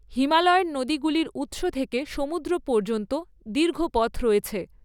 হিমালয়ের নদীগুলির উত্স থেকে সমুদ্র পর্যন্ত দীর্ঘ পথ রয়েছে।